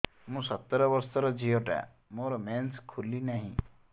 ମୁ ସତର ବର୍ଷର ଝିଅ ଟା ମୋର ମେନ୍ସେସ ଖୁଲି ନାହିଁ